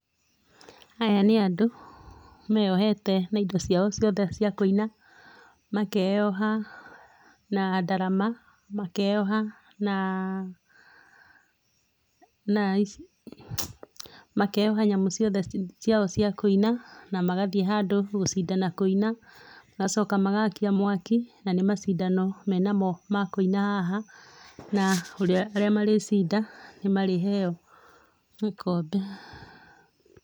Aya nĩ andũ, meyohete na indo ciao ciothe cia kũina, makeyoha na ndarama, makeyoha na na makeyoha nyamũ ciothe ciao cia kũina, na magathiĩ handũ gũcindana kũina, magacoka magakia mwaki, na nĩ macindano me namo ma kũina haha, na arĩa marĩcinda nĩ marĩheo gĩkombe.